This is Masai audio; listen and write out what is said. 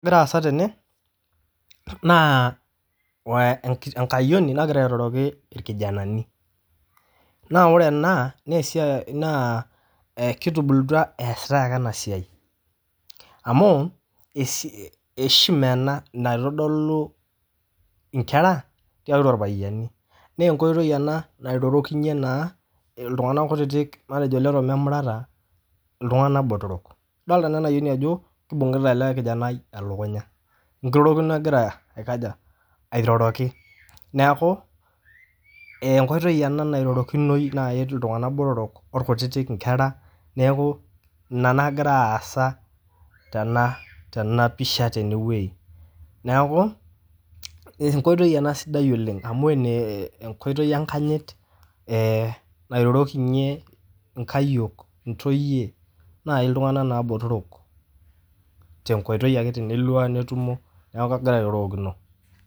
Egira aasa tene naa we enkayioni nagira airoroki irkijanani, naa ore ena naa esiai naa ee kitubulutua eesitai ake ena siai amu esi heshima ena naitodolu nkera tiatua irpayiani nee enkoitoi ena nairorokinye naa iltung'anak kutitik matejo lememurata iltung'anak botorok. Idolta naa ena ayioni ajo kibung'ita ele kijanai elkunya, enkirorokino egira aikaja airoroki. Neeku ee enkoitoi ena nairorokinoi nae eti iltung'anak botorok orkutitik nkera, neeku ina nagira aasa tena tena pisha tene wuei. Neeku enkoitoi ena sidai oleng' amu ene enkoitoi enkanyit ee nairorokinye nkayiok, ntoyie nai iltung'anak naa botorok te nkoitoi ake tenelua netumo neeku egira airorokino.